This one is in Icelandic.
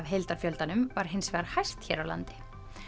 heildarfjöldanum var hins vegar hæst hér á landi